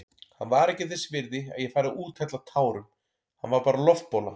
Hann var ekki þess virði að ég færi að úthella tárum, hann var bara loftbóla.